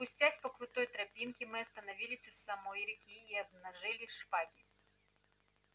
спустясь по крутой тропинке мы остановились у самой реки и обнажили шпаги